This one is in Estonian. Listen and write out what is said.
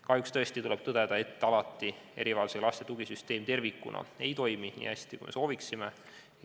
Kahjuks tuleb tõdeda, et erivajadusega laste tugisüsteem ei toimi alati tervikuna nii hästi, kui me sooviksime.